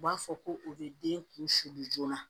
U b'a fɔ ko u bɛ den kun siri joona